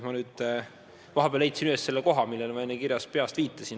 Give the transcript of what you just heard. Ma nüüd vahepeal leidsin üles selle koha enda kirjas, millele ma enne peast viitasin.